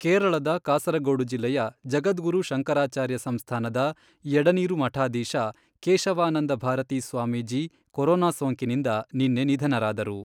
ಕೇರಳದ ಕಾಸರಗೋಡು ಜಿಲ್ಲೆಯ ಜಗದ್ಗುರು ಶಂಕರಾಚಾರ್ಯ ಸಂಸ್ಥಾನದ ಎಡನೀರು ಮಠಾಧೀಶ ಕೇಶವಾನಂದ ಭಾರತೀ ಸ್ವಾಮೀಜಿ ಕೊರೋನಾ ಸೋಂಕಿನಿಂದ ನಿನ್ನೆ ನಿಧನರಾದರು.